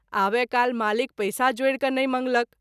आबय काल मालिक पैसा जोरि क’ नहिं मंगलक।